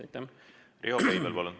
Riho Breivel, palun!